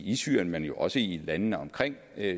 i syrien men jo også i landene omkring